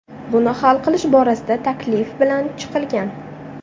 Buni hal qilish borasida taklif bilan chiqilgan.